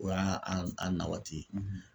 O y'a an a na waati ye